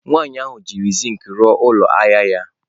Nwaanyị ahụ jiri zinc rụọ ụlọ ahịa ya.